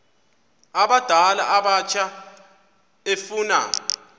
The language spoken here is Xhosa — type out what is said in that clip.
abadala abatsha efuna